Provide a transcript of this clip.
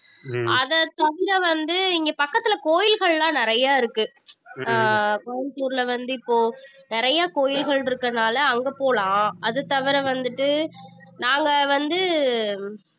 அதை தவிர வந்து இங்க பக்கத்துல கோயில்கள் எல்லாம் நிறைய இருக்கு ஆஹ் கோயம்புத்தூர்ல வந்து இப்போ நிறைய கோயில்கள் இருக்கறதுனால அங்க போலாம் அது தவிர வந்துட்டு நாங்க வந்து